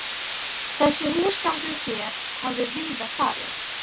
Þessi húsgangur hér hafði víða farið